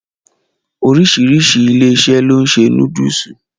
Oríṣiríṣi ilé-iṣẹ́ ló ń ṣe núdùsù.